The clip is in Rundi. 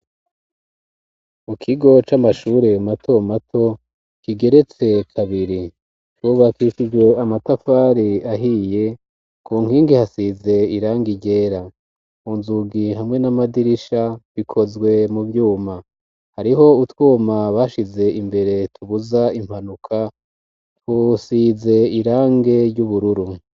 Mu kigo c'amashure mato mato kigeretse kabiri, cubakishijwe amatafari ahiye ku nkingi hasize irangi ryera, ku nzugi hamwe n'amadirisha bikozwe mu vyuma, hariho utwuma bashize imbere tubuza impanuka dusize irangi ry'ubururu.